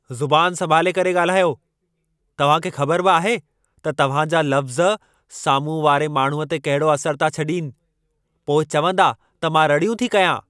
ज़ुबान संभाले करे ॻाल्हायो। तव्हां खे ख़बर बि आहे त तव्हां जा लफ़्ज़ साम्हूं वारे माण्हूअ ते कहिड़ो असर था छॾीनि। पोइ चवंदा त मां रड़ियूं थी कयां।